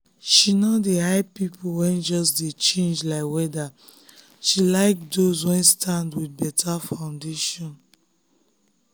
she no dey hype people wey just dey change like weather she like those wey stand with better foundation.